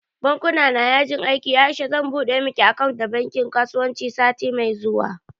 Bankuna na yajin aiki Aisha zan buɗe miki akant da bankin kasuwanci sati mai zuwa